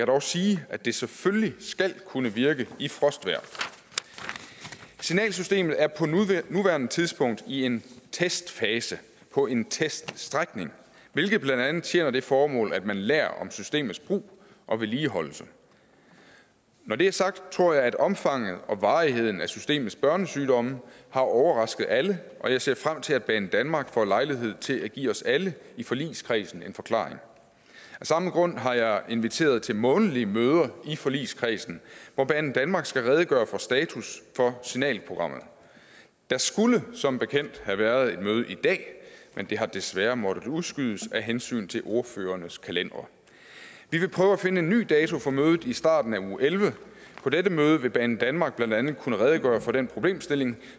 dog sige at det selvfølgelig skal kunne virke i frostvejr signalsystemet er på nuværende tidspunkt i en testfase på en teststrækning hvilket blandt andet tjener det formål at man lærer om systemets brug og vedligeholdelse når det er sagt tror jeg at omfanget og varigheden af systemets børnesygdomme har overrasket alle og jeg ser frem til at banedanmark får lejlighed til at give os alle i forligskredsen en forklaring af samme grund har jeg inviteret til månedlige møder i forligskredsen hvor banedanmark skal redegøre for status for signalprogrammerne der skulle som bekendt have været et møde i dag men det har desværre måttet udskydes af hensyn til ordførernes kalendere vi vil prøve at finde en ny dato for mødet i starten af uge ellevte på dette møde vil banedanmark blandt andet kunne redegøre for den problemstilling